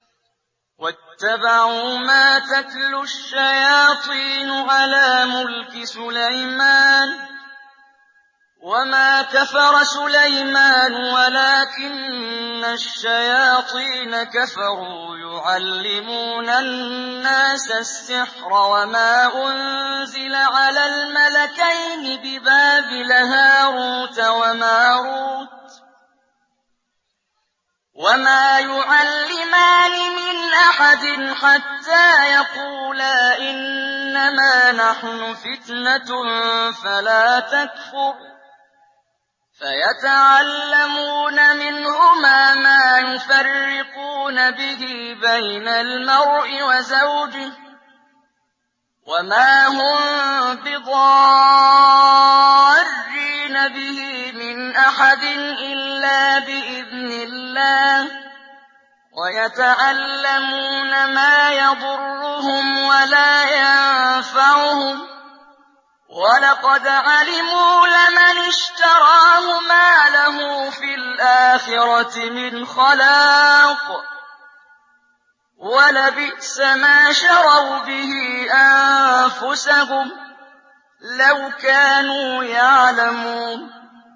وَاتَّبَعُوا مَا تَتْلُو الشَّيَاطِينُ عَلَىٰ مُلْكِ سُلَيْمَانَ ۖ وَمَا كَفَرَ سُلَيْمَانُ وَلَٰكِنَّ الشَّيَاطِينَ كَفَرُوا يُعَلِّمُونَ النَّاسَ السِّحْرَ وَمَا أُنزِلَ عَلَى الْمَلَكَيْنِ بِبَابِلَ هَارُوتَ وَمَارُوتَ ۚ وَمَا يُعَلِّمَانِ مِنْ أَحَدٍ حَتَّىٰ يَقُولَا إِنَّمَا نَحْنُ فِتْنَةٌ فَلَا تَكْفُرْ ۖ فَيَتَعَلَّمُونَ مِنْهُمَا مَا يُفَرِّقُونَ بِهِ بَيْنَ الْمَرْءِ وَزَوْجِهِ ۚ وَمَا هُم بِضَارِّينَ بِهِ مِنْ أَحَدٍ إِلَّا بِإِذْنِ اللَّهِ ۚ وَيَتَعَلَّمُونَ مَا يَضُرُّهُمْ وَلَا يَنفَعُهُمْ ۚ وَلَقَدْ عَلِمُوا لَمَنِ اشْتَرَاهُ مَا لَهُ فِي الْآخِرَةِ مِنْ خَلَاقٍ ۚ وَلَبِئْسَ مَا شَرَوْا بِهِ أَنفُسَهُمْ ۚ لَوْ كَانُوا يَعْلَمُونَ